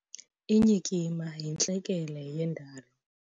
Inyikima yintlekele yendalo.